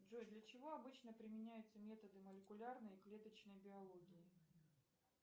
джой для чего обычно применяются методы молекулярной и клеточной биологии